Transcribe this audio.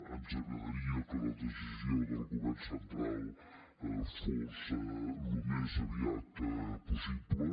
ens agradaria que la decisió del govern central fos al més aviat possible